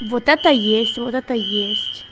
вот это есть вот это есть